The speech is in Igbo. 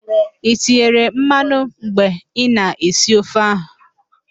I tinyere mmanụ mgbe ị na-esi ofe ahụ?